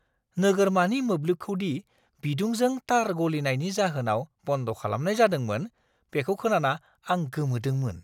नोगोरमानि मोब्लिबखौदि बिदुंजों तार गलिनायनि जाहोनाव बन्द खालामनाय जादोंमोन, बेखौ खोनाना आं गोमोदोंमोन।